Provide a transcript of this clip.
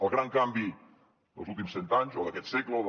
el gran canvi dels últims cent anys o d’aquest segle o del